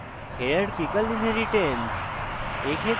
hierarchical inheritance